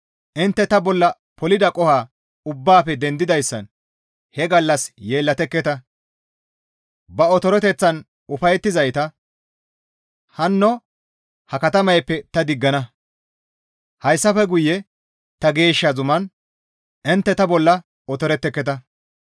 Intte ta bolla polida qoho ubbaafe dendidayssan; he gallas yeellatekketa; ba otoreteththan ufayettizayta, hanno ha katamayppe ta diggana. Hessafe guye ta geeshsha zuman, intte ta bolla otoretteketa.